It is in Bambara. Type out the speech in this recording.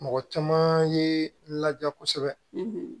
Mɔgɔ caman ye ladiya kosɛbɛ